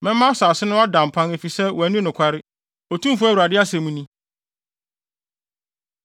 Mɛma asase no ada mpan efisɛ wɔanni nokware, Otumfo Awurade asɛm ni.”